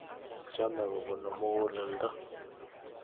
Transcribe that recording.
chamee kobunuu mukuleldo